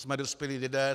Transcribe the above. Jsme dospělí lidé.